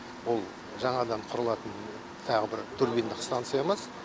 ол жаңадан құрылатын тағы бір турбиндық станциямыз